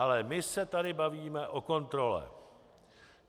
Ale my se tady bavíme o kontrole.